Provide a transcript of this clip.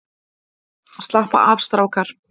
Slappa af strákar!